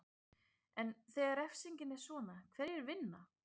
En þegar refsingin er svona, hverjir vinna?